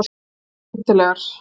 Eru þær skemmtilegar